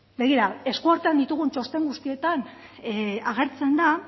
begira esku artean ditugun txosten guztietan agertzen da